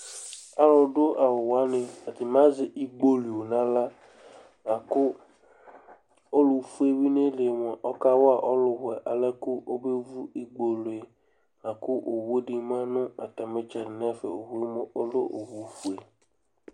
Alʋdʋ awʋ wanɩ atanɩ azɛ igbolio nʋ aɣla la kʋ ɔlʋfue yɛ bɩ nʋ ayili yɛ mʋa, ɔkawa ɔlʋwɛ yɛ alɛ kʋ ɔmevu igbolio yɛ la kʋ owu dɩ ma nʋ atamɩ ɩtsɛdɩ nʋ ɛfɛ Owu yɛ mʋa, ɔlɛ ofue